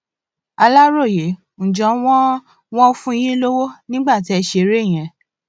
aláròye ǹjẹ wọn wọn fún yín lọwọ nígbà tẹ ẹ ṣeré yẹn